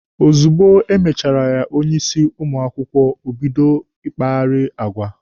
Ozugbo e mechara ya onye isi ụmụ akwụkwọ, o bido ịkpagheri agwa.